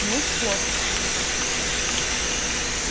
неуж плохо ответил он